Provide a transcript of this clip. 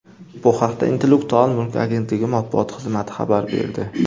Bu haqda Intellektual mulk agentligi matbuot xizmati xabar berdi .